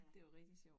Det var rigtig sjovt